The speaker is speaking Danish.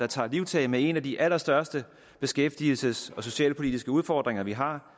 tager livtag med en af de allerstørste beskæftigelsesmæssige og socialpolitiske udfordringer vi har